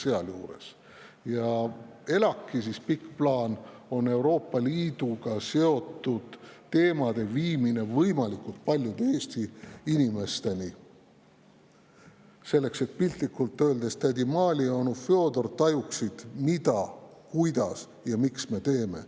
ELAK‑i pikk plaan on Euroopa Liiduga seotud teemade viimine võimalikult paljude Eesti inimesteni, selleks et piltlikult öeldes tädi Maali ja onu Fjodor tajuksid, mida, kuidas ja miks me teeme.